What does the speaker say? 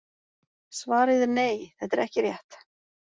Svarið er nei, þetta er ekki rétt.